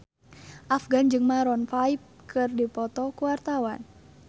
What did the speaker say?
Afgan jeung Maroon 5 keur dipoto ku wartawan